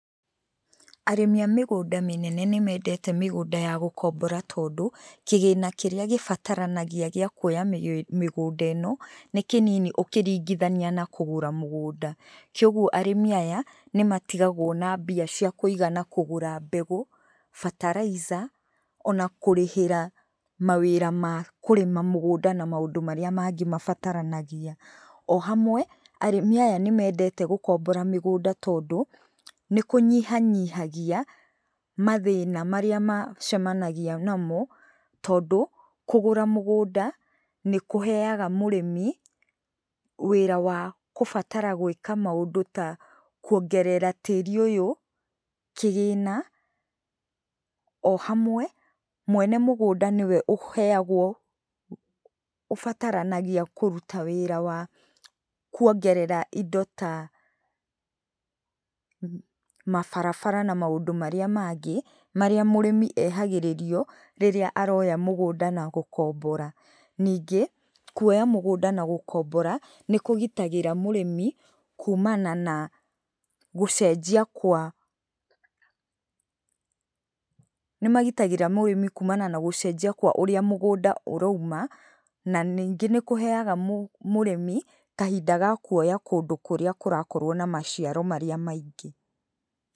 Arĩmi a mĩgũnda mĩnene nĩ mendete mĩgũnda ya gũkombora tondũ, kĩgĩna kĩrĩa gĩbataranagia gĩa kuoya mĩgũnda ĩno, nĩ kĩnini ũkĩringithania na kũgũra mũgũnda. Kogwo arĩmi aya, nĩ matigagũo na mbia cia kũigana kũgũra mbegũ, fertilizer ona kũrĩhĩra mawĩra ma kũrĩma mũgũnda na maũndũ marĩa mangĩ mabataranagia. O hamwe, arĩmi aya nĩ mendete gũkombora mĩgũnda tondũ, nĩ kũnyihanyihagia mathĩna marĩa macemanagia namo. Tondũ, kũgũra mũgũnda nĩ kũheaga mũrĩmi wĩra wa gũbatara gwĩka maũndũ ta kũongerera tĩrĩ ũyũ kĩgĩna. O hamwe, mwene mũgũnda nĩwe ũheagwo, ũbataranagia kũruta wĩra wa kuongerera indo ta, mabarabara na maũndũ marĩa mangĩ, marĩa mũrĩmi ehagĩrĩrio rĩrĩa aroya mũgũnda na gũkombora. Ningĩ, kuoya mũgũnda na gũkombora, nĩ kũgitagĩra mũrĩmi kumana na gũcenjia kwa ũrĩa mũgũnda, nĩ magitagĩra mũrĩmi kumana na gũcenjia kwa ũrĩa mũgũnda ũrauma, na ningĩ nĩ kũheaga mũrĩmi kahinda ga kuoya kũndũ kũrĩa kũrakorwo na maciaro maingĩ.